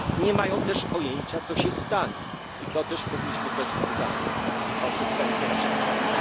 Nie mają też pojęcia, co się stanie, i to też powinniśmy brać pod uwagę konsekwencje naszych działań.